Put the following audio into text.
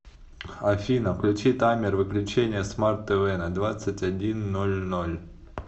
афина включи таймер выключения смарт тв на двадцать один ноль ноль